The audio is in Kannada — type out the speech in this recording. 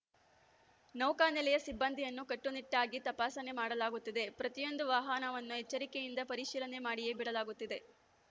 ನೌಕಾನೆಲೆಯ ಸಿಬ್ಬಂದಿಯನ್ನೂ ಕಟ್ಟುನಿಟ್ಟಾಗಿ ತಪಾಸಣೆ ಮಾಡಲಾಗುತ್ತಿದೆ ಪ್ರತಿಯೊಂದು ವಾಹನವನ್ನೂ ಎಚ್ಚರಿಕೆಯಿಂದ ಪರಿಶೀಲನೆ ಮಾಡಿಯೇ ಬಿಡಲಾಗುತ್ತಿದೆ